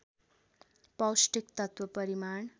पौष्टिक तत्त्व परिमाण